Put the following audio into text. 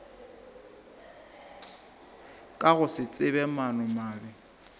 ka go se tsebe maanomabe